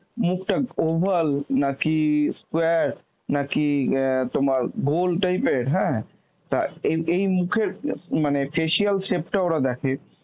মুখটা oval নাকি square নাকি অ্যাঁ তোমার গোল type এর হ্যাঁ তা এই এই মুখের অ্যাঁ মানে facial shape টা ওরা দেখে